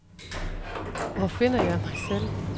Hvor finder jeg mig selv?